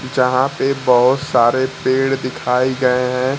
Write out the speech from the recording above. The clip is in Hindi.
जहां पे बहोत सारे पेड़ दिखाई गए है।